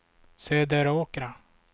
Söderåkra